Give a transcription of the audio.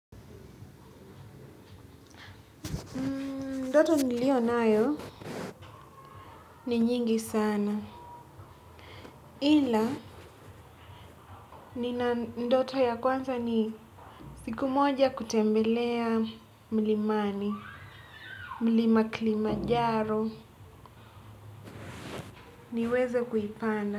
Ndoto niliyonayo ni nyingi sana. Ila nina ndoto ya kwanza ni siku moja kutembelea mlimani, mlima Kilimanjaro, niweze kuipanda.